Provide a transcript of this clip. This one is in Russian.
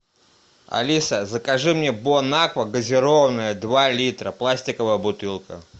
алиса закажи мне бонаква газированная два литра пластиковая бутылка